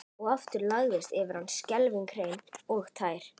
Og aftur lagðist yfir hann skelfing hrein og tær.